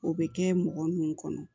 O bɛ kɛ mɔgɔ nunnu kɔnɔ